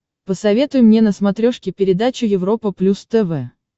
посоветуй мне на смотрешке передачу европа плюс тв